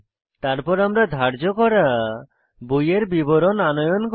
তারপর আমরা ধার্য করা বইয়ের বিবরণ আনয়ন করি